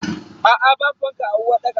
Aa babu fanka a uwarɗakar.